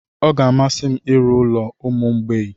Ọ ga-amasị m ịrụ ụlọ ụmụ mgbei.